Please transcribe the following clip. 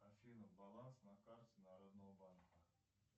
афина баланс на карте народного банка